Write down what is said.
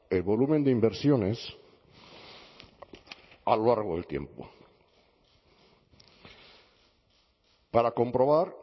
el volumen de inversiones a lo largo del tiempo para comprobar